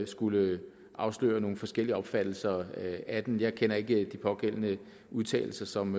skulle afsløre at nogle forskellige opfattelser af den jeg kender ikke de pågældende udtalelser som